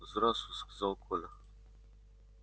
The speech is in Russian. здравствуй сказал коля